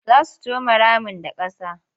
Za su come ramin da ƙasa.